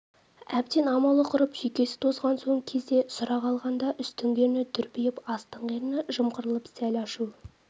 әбден амалы құрып жүйкесі тозған соңғы кезде сұрақ алғанда үстіңгі ерні дүрдиіп астыңғы ерні жымқырылып сәл ашу